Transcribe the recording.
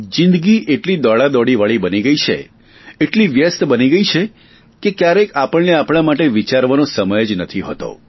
જિંદગી એટલી દોડાદોડી વાળી બની ગઇ છે એટલી વ્યસ્ત બની ગઇ છે કે ક્યારેક આપણને આપણા માટે વિચારવાનો સમય જ નથી હોતો